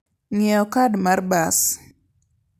Ng'iewo kad mar bas.